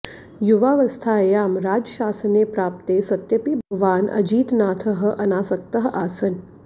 युवावस्थायां राजशासने प्राप्ते सत्यपि भगवान् अजितनाथः अनासक्तः आसन्